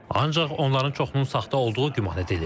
Ancaq onların çoxunun saxta olduğu güman edilir.